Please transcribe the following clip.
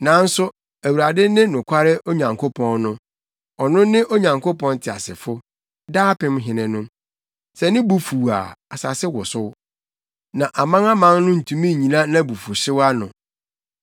Nanso Awurade ne nokware Onyankopɔn no; ɔno ne Onyankopɔn teasefo, daapem Hene no. Sɛ ne bo fuw a asase wosow; na amanaman no ntumi nnyina nʼabufuwhyew ano.